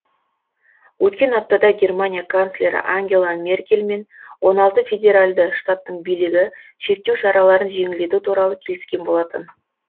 өткен аптада германия канцлері ангела меркель мен он алты федералды штаттың билігі шектеу шараларын жеңілдету туралы келіскен болатын